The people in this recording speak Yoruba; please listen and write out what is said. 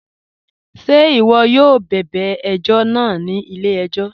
Ṣẹ̀ iwọ̀ yóò bẹbẹ̀ ẹ̀jọ̀ náà ni ilẹ̀-ẹ̀jọ̀?